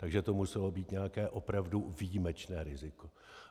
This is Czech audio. Takže to muselo být nějaké opravdu výjimečné riziko.